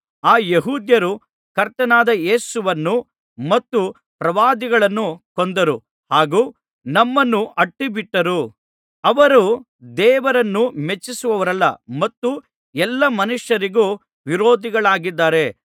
ಆ ಯೆಹೂದ್ಯರು ಕರ್ತನಾದ ಯೇಸುವನ್ನು ಮತ್ತು ಪ್ರವಾದಿಗಳನ್ನೂ ಕೊಂದರು ಹಾಗು ನಮ್ಮನ್ನೂ ಅಟ್ಟಿಬಿಟ್ಟರು ಅವರು ದೇವರನ್ನು ಮೆಚ್ಚಿಸುವವರಲ್ಲ ಮತ್ತು ಎಲ್ಲಾ ಮನುಷ್ಯರಿಗೂ ವಿರೋಧಿಗಳಾಗಿದ್ದಾರೆ